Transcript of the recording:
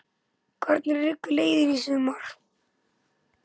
Hver liggur leiðin í sumar?